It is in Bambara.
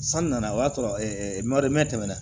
San nana o y'a sɔrɔ tɛmɛna